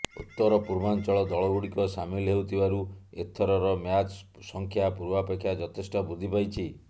ଉତ୍ତର ପୂର୍ବାଞ୍ଚଳ ଦଳଗୁଡ଼ିକ ସାମିଲ ହେଉଥିବାରୁ ଏଥରର ମ୍ୟାଚ୍ ସଂଖ୍ୟା ପୂର୍ବାପେକ୍ଷା ଯଥେଷ୍ଟ ବୃଦ୍ଧି ପାଇଛି